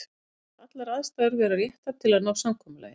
Ég tel allar aðstæður vera réttar til að ná samkomulagi.